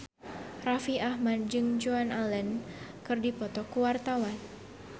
Raffi Ahmad jeung Joan Allen keur dipoto ku wartawan